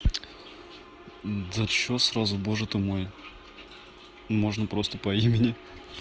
за что сразу боже ты мой можно просто по имени